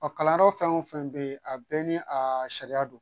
Ɔ kalanyɔrɔ fɛn o fɛn bɛ yen a bɛɛ ni a sariya don